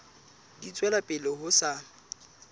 di tswela pele ho sa